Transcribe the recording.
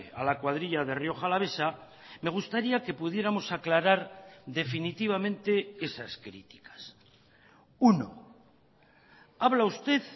a la cuadrilla de rioja alavesa me gustaría que pudiéramos aclarar definitivamente esas criticas uno habla usted